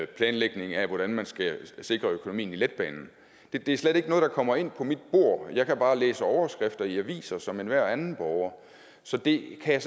planlægningen af hvordan man skal sikre økonomien i letbanen det er slet ikke noget der kommer ind på mit bord jeg kan bare læse overskrifter i aviser som enhver anden borger så det kan jeg